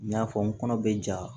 N y'a fɔ n kɔnɔ bɛ ja